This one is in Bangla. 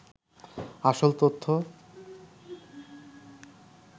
আসল তথ্য